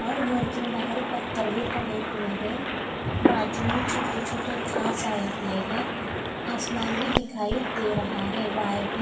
और घर के बाहर पत्थर भी पड़े हुए हैं बाजू में छोटे छोटे घास आए हुए हैं आसमान भी दिखाई दे रहा हैं वायर भी--